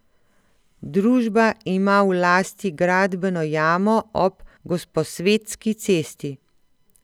Družba ima v lasti gradbeno jamo ob Gosposvetski cesti.